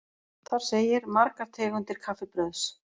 Þar segir: Margar tegundir kaffibrauðs.